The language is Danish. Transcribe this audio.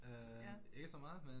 Ja.